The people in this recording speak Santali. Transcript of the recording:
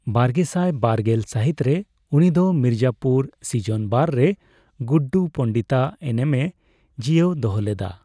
ᱵᱟᱨᱜᱮᱥᱟᱭ ᱵᱟᱨᱜᱮᱞ ᱥᱟᱹᱦᱤᱛ ᱨᱮ, ᱩᱱᱤᱫᱚ ᱢᱤᱨᱡᱟᱯᱩᱨ ᱥᱤᱡᱚᱱ ᱵᱟᱨ ᱨᱮ ᱜᱩᱰᱰᱩ ᱯᱚᱸᱰᱤᱛᱟᱜ ᱮᱱᱮᱢᱮ ᱡᱤᱭᱟᱹᱣ ᱫᱚᱦᱚ ᱞᱮᱫᱟ ᱾